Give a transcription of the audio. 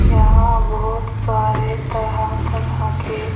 यहां बहुत सारे तरह-तरह के--